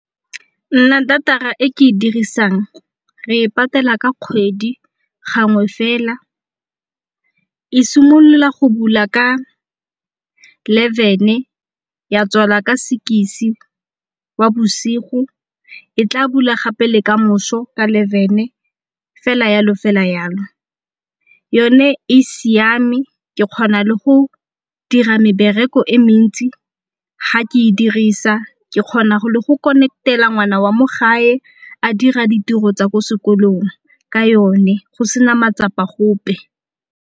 Nna data-ra e ke e dirisang re patela ka kgwedi gangwe fela. E simolola go bula ka eleven-e ya tswala ka six-e wa bosigo e tla bula gape le kamoso ka eleven-e fela jalo fela jalo. Yone e siame ke kgona le go dira mebereko e mentsi ga ke e dirisa, ke kgona go le go connect-ela ngwana wa mo gae a dira ditiro tsa ko sekolong ka yone go sena matsapa gope.